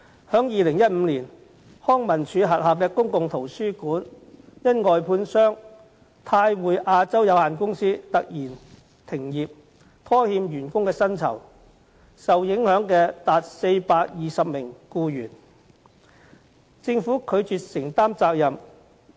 在2015年，康樂及文化事務署轄下的公共圖書館因外判商泰匯亞洲有限公司突然停業，拖欠員工薪酬，多達420名僱員受影響，但政府卻拒絕承擔責任。